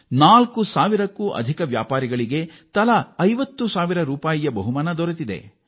ನಾಲ್ಕು ಸಾವಿರಕ್ಕೂ ಹೆಚ್ಚು ವ್ಯಾಪಾರಿಗಳಿಗೆ ತಲಾ 50 ಸಾವಿರ ರೂಪಾಯಿಗಳ ಬಹುಮಾನ ದೊರೆತಿದೆ